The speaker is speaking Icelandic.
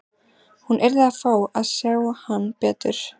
Hún yrði að fá að sjá hann betur.